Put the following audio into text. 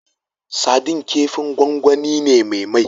Sadin kifin gwangwani ne me mai